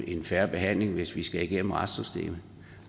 en fair behandling hvis vi skal igennem retssystemet